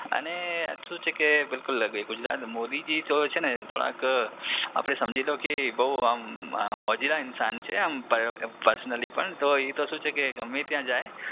અને શું છે કે બિલકુલ મોદીજી તો છે ને થોડાક આપણે સમજી લોકે બઉ આમ મોજીલા ઇન્સાન છે પર્સનલી પણ એ તો શું છે કે ગમે ત્યાં જાય.